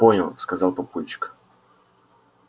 понял сказал папульчик